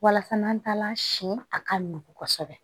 Walasa n'an taala siɲɛ a ka nugu kosɛbɛ